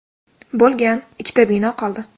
bo‘lgan, ikkita bino qoldi.